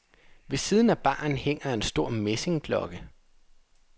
Ved siden af baren hænger en stor messingklokke.